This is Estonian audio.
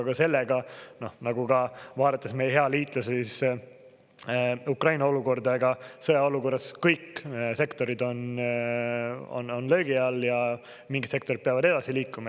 Aga sellega, nagu ka vaadates meie hea liitlase Ukraina olukorda – ega sõjaolukorras kõik sektorid on löögi all ja mingid sektorid peavad edasi liikuma.